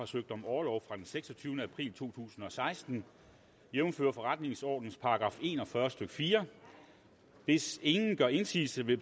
søgt om orlov fra den seksogtyvende april to tusind og seksten jævnfør forretningsordenens § en og fyrre stykke fjerde hvis ingen gør indsigelse vil